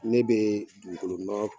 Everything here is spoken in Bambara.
Ne bee dugukolonɔ